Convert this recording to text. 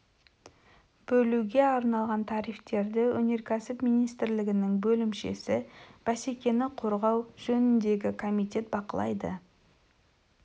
бөлуге арналған тарифтерді өнеркәсіп министрлігінің бөлімшесі бәсекені қорғау жөніндегі комитет бақылайды